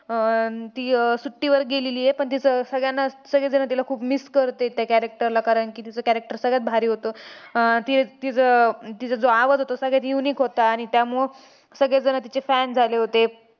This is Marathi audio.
अं ती अह सुट्टीवर गेलेली आहे. पण तिचं सगळ्यांनाच~ सगळेजण तिला खूप miss करतात त्या character ला. कारण की, तिचं character सगळ्यात भारी होतं. अह ती~ तीच~ तिचा जो आवाज होता तो सगळ्यात unique होता. आणि त्यामुळं सगळेजण तिचे fan झाले होते.